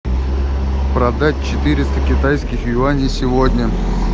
продать четыреста китайских юаней сегодня